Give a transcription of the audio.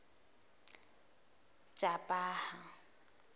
jobhaha